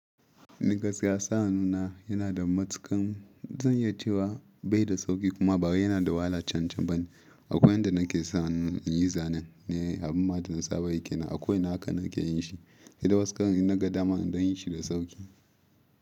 Ni gaskiya sa'annuna yana da matuƙan zan iya cewa bai da sauƙi kuma bawai yana da wahala can-can ba. Akwai yadda nake sa hannu in yi zanen, abin ma ɗana saba yi kenan a ko ina haka nake yin shi. Sai da wasu ƙaran in naga dama in dan yi shi da sauƙi.